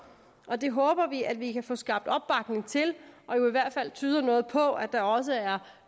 og det håber vi at vi kan få skabt opbakning til og i hvert fald tyder noget på at der også er